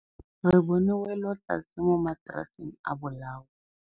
Re bone wêlôtlasê mo mataraseng a bolaô.